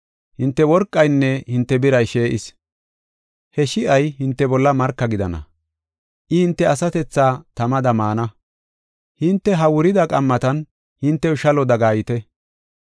Hinte worqaynne hinte biray shi7is. He shi7ay hinte bolla marka gidana. I hinte asatethaa tamada maana. Hinte ha wurida qammatan hintew shalo dagayeeta.